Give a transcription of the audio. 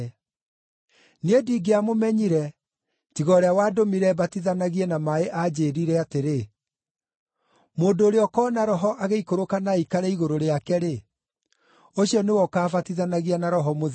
Niĩ ndingĩamũmenyire, tiga ũrĩa wandũmire mbatithanagie na maaĩ aanjĩĩrire atĩrĩ, ‘Mũndũ ũrĩa ũkoona Roho agĩikũrũkĩra na aikare igũrũ rĩake-rĩ, ũcio nĩwe ũkaabatithanagia na Roho Mũtheru.’